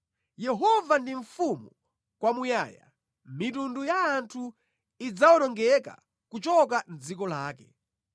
Yehova ndi Mfumu kwamuyaya; mitundu ya anthu idzawonongeka kuchoka mʼdziko lake.